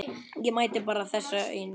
Ég mætti bæta þetta aðeins.